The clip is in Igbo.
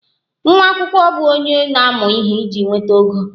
Nwa akwụkwọ bụ onye na-amụ ihe iji nweta ogo